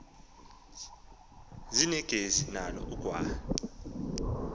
zeningezi nalo ubugwal